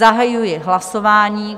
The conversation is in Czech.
Zahajuji hlasování.